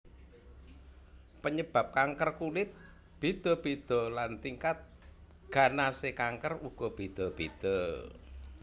Panyebab kanker kulit béda béda lan tingkat ganasé kanker uga béda béda